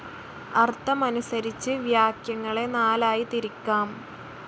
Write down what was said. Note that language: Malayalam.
അർത്ഥമനുസരിച്ച് വാക്യങ്ങളെ നാലായി തിരിക്കാം.